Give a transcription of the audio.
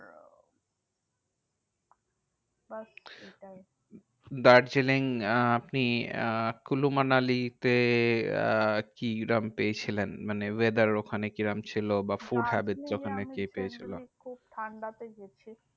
ব্যাস এটাই দার্জিলিং আহ আপনি আহ কুল্লু মানালিতে আহ কিরাম পেয়েছিলেন? মানে weather ওখানে কিরাম ছিল? বা food habits দার্জিলিঙে আমি ওখানে যে পেয়েছিল? খুব ঠান্ডাতে গেছি।